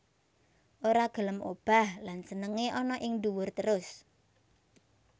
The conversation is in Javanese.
Ora gelem obah lan senengé ana ing duwur terus